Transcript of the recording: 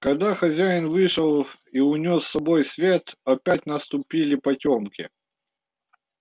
когда хозяин вышел и унёс с собою свет опять наступили потёмки